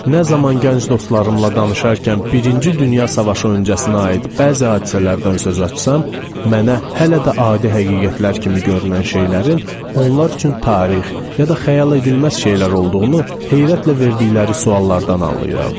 Nə zaman gənc dostlarımla danışarkən birinci Dünya Savaşı öncəsinə aid bəzi hadisələrdən söz açsam, mənə hələ də adi həqiqətlər kimi görünən şeylərin onların üçün tarix ya da xəyal edilməz şeylər olduğunu heyrətlə verdikləri suallardan anlayıram.